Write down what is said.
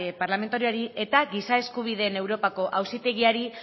parlamentarioari eta giza eskubideen europako auzitegiari